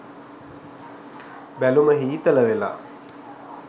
බැලුම හීතල වෙලා